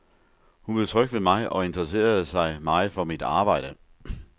Hun blev tryg ved mig og interesserede sig meget for mit arbejde.